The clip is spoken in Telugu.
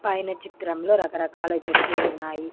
పైన చిత్రంలో రకరకాల చెట్లు ఉన్నాయి.